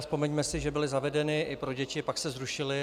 Vzpomeňme si, že byly zavedeny i pro děti, pak se zrušily.